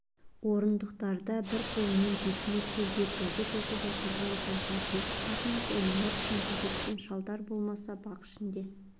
орындықтарда бір қолымен бесіе тербеп газет оқып отырған жас әке шахмат ойнап шүңкілдескен шалдар болмаса бақ шнде